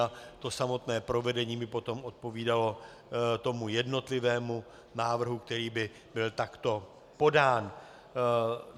A to samotné provedení by potom odpovídalo tomu jednotlivému návrhu, který by byl takto podán.